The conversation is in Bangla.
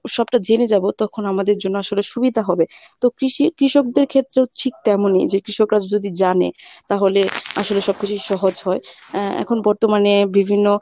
সবটা জেনে যাব তখন আমদের জন্য আসলে সুবিধা হবে। তো কৃষি কৃষকদের ক্ষেত্রে হচ্ছে ঠিক তেমনই যে কৃষকরা যদি জানে তাহলে আসরে সবকিছু সহজ হয় এর এখন বর্তমানে বিভিন্ন